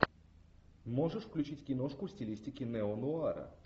можешь включить киношку в стилистике неонуара